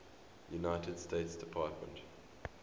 united states department